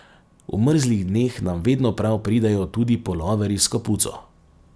V mrzlih dneh nam vedno prav pridejo tudi puloverji s kapuco.